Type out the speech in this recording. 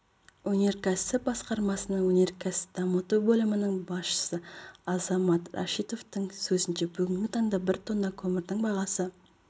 өнеркәсіп басқармасының өнеркәсіпті дамыту бөлімінің басшысы азамат рашитовтің сөзінше бүгінгі таңда бір тонна көмірдің бағасы